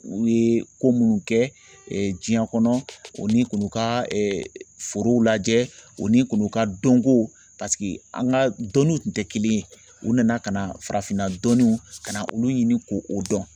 U ye ko minnu kɛ diɲɛ kɔnɔ o ni k'u ka forow lajɛ o ni k'u ka dɔnkow an ka dɔnniw tun tɛ kelen ye u nana ka na farafinna dɔnniw ka na olu ɲini k'o o dɔn